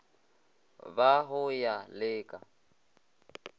ba go ya le ka